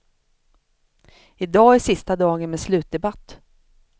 I dag är sista dagen med slutdebatt.